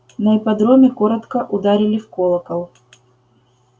на ипподроме коротко ударили в колокол